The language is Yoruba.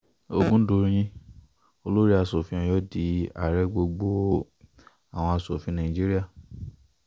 ọ̀gùndọ̀yìn olórí asòfin ọ̀yọ́ di ààrẹ gbogbo àwọn asòfin nàìjíríà um